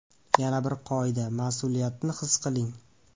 Yana bir qoida – mas’uliyatni his qiling.